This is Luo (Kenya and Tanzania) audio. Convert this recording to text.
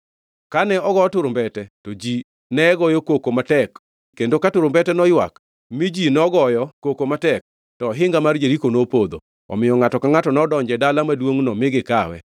Kane ogo turumbete, to ji ne goyo koko matek, kendo ka turumbete noywak, mi ji nogoyo koko matek, to ohinga mar Jeriko nopodho, omiyo ngʼato ka ngʼato nodonjo e dala maduongʼno mi gikawe.